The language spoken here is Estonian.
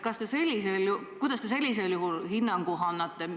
Mis hinnangu te sellisel juhul annate?